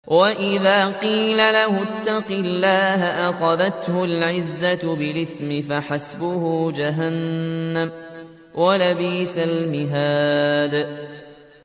وَإِذَا قِيلَ لَهُ اتَّقِ اللَّهَ أَخَذَتْهُ الْعِزَّةُ بِالْإِثْمِ ۚ فَحَسْبُهُ جَهَنَّمُ ۚ وَلَبِئْسَ الْمِهَادُ